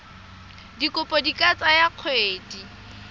dikopo di ka tsaya dikgwedi